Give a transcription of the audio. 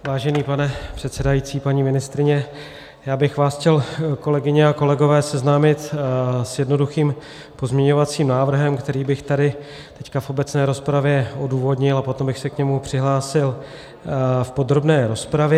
Vážený pane předsedající, paní ministryně, já bych vás chtěl, kolegyně a kolegové, seznámit s jednoduchým pozměňovacím návrhem, který bych tady teď v obecné rozpravě odůvodnil, a potom bych se k němu přihlásil v podrobné rozpravě.